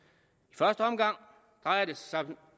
i første omgang drejer det sig